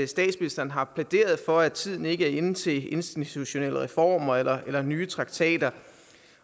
statsministeren har plæderet for at tiden ikke er inde til institutionelle reformer eller nye traktater